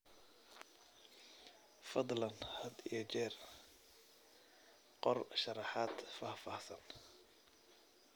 Fadlan had iyo jeer qor sharraxaad faahfaahsan.